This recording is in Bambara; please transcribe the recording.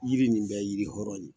Yiri nin bɛɛ yiri kɔrɔ ye.